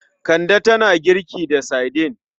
Kande tana girki da saidin.